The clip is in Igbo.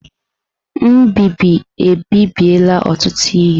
Mbibi ebibiela ọtụtụ ihe.